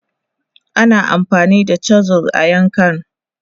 Ana amfani da chisels a yankan..